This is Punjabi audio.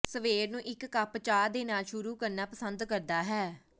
ਸਵੇਰ ਨੂੰ ਇੱਕ ਕੱਪ ਚਾਹ ਦੇ ਨਾਲ ਸ਼ੁਰੂ ਕਰਨਾ ਪਸੰਦ ਕਰਦਾ ਹੈ